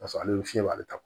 Paseke ale bɛ fiɲɛ b'ale ta